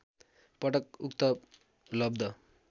पटक उक्त लब्ध